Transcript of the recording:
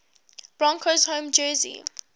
broncos home jersey